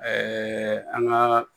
an ka